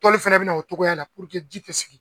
Tɔli fɛnɛ bɛ na o cogoya la puruke ji tɛ sigi